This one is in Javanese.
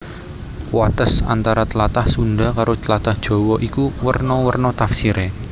Wates antara tlatah Sundha karo tlatah Jawa iku werna werna tafsiré